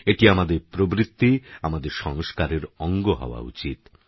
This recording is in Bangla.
এটি আমাদের প্রবৃত্তি আমাদের সংস্কারের অঙ্গ হওয়া উচিত